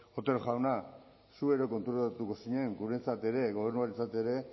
otero jauna zu ere konturatuko zinen guretzat ere gobernuarentzat ere